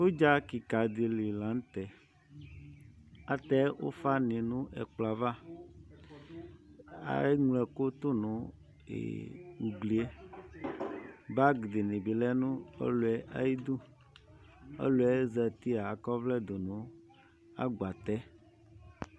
Udza kika dili laŋtɛAtɛ ufa ni nʋ ɛkplɔ'avaEŋlo ɛkʋ tu nʋ uglieBag dini bi lɛ nʋ ɔluɛ ayiduƆluɛ zatiɛ akɔvlɛ dunu ɛgbatɛ